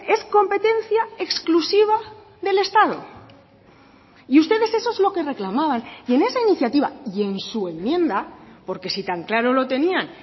es competencia exclusiva del estado y ustedes eso es lo que reclamaban y en esa iniciativa y en su enmienda porque si tan claro lo tenían